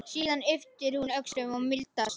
Síðan ypptir hún öxlum og mildast.